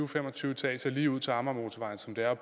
fem og tyve etager lige ud til amagermotorvejen som det er at